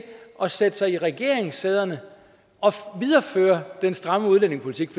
at sætte sig i regeringssæderne og videreføre den stramme udlændingepolitik